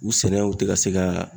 U sɛnɛw tɛ ka se ka